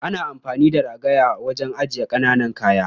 Ana amfani da ragaya wajen ajiyar ƙaƙanan kayan.